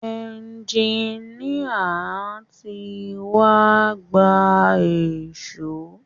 Ẹjiníà tí wá gba èṣó.